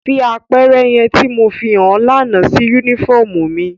Fi apẹrẹ yẹn ti Mo fihan ọ lana si unifọmú mi!